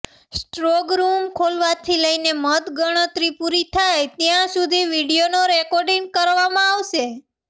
strongroom ખોલવાથી લઈને મતગણતરી પૂરી થાય ત્યાં સુધી વીડિયો રેકોર્ડિંગ કરવામાં આવશે